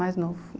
Mais novo.